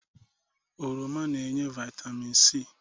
Oroma na-enye Vaitamịn si